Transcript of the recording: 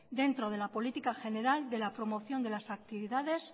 dentro de la política general de la promoción de las actividades